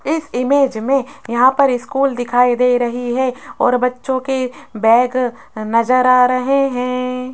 इस इमेज में यहां पर स्कूल दिखाई दे रही है और बच्चों के बैग नजर आ रहे हैं।